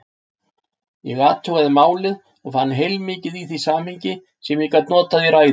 Ég athugaði málið og fann heilmikið í því samhengi, sem ég gat notað í ræðu.